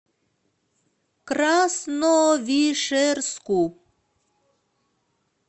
красновишерску